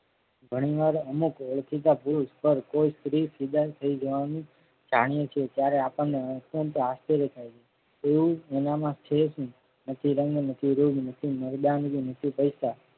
ઘણીવાર અમુક ઓળખીતા પુરુષ પર સ્ત્રી ફિદા થઈ જવાની જાણીએ છીએ જયારે આપણને અંશત આશ્ચર્ય થાય છે. એવું એના માં છે જ